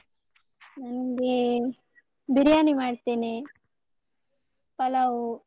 ನನ್ಗೆ ಬಿರ್ಯಾನಿ ಮಾಡ್ತೇನೆ, ಪಲಾವ್.